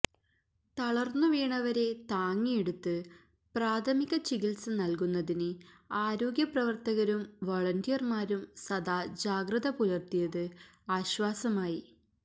തളര്ന്നുവീണവരെ താങ്ങിയെടുത്ത് പ്രാഥമിക ചികിത്സ നല്കുന്നതിന് ആരോഗ്യപ്രവര്ത്തകരും വൊളന്റിയര്മാരും സദാ ജാഗ്രതപുലര്ത്തിയത് ആശ്വാസമായി